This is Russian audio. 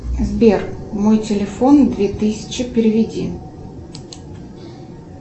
сбер мой телефон две тысячи переведи